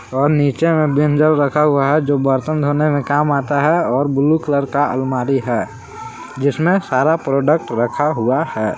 और नीचे में विम जेल रखा हुआ है जो बर्तन धोने में काम आता है और ब्लू कलर का अलमारी है जिसमें सारा प्रोडक्ट रखा हुआ है।